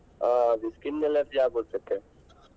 ಹಾ ಅದು skin allergy ಆಗುತ್ತಂತೆ.